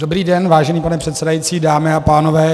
Dobrý den, vážený pane předsedající, dámy a pánové.